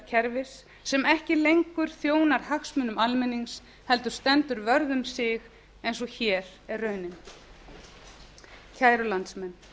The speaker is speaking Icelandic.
kerfis sem ekki lengur þjóðar hagsmunum almennings heldur stendur vörð um sig eins og hér er raunin kæru landsmenn